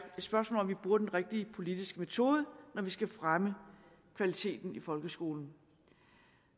spørgsmål om vi bruger den rigtige politiske metode når vi skal fremme kvaliteten i folkeskolen